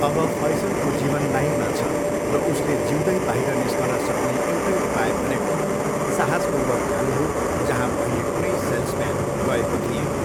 अब फैसलको जीवन लाइनमा छ र उसले जिउँदै बाहिर निस्कन सक्ने एउटै उपाय भनेको साहसपूर्वक जानु हो जहाँ पहिले कुनै सेल्सम्यान गएको थिएन।